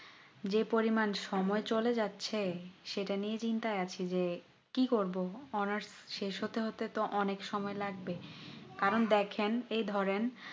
যে পরিমান সময় চলে যাচ্ছে সেটা নিয়েই চিন্তায় আছি যে কি করবো honours শেষ হতে হতে তো অনেক সময় লাগবে কারণ দেখেন এই ধরেন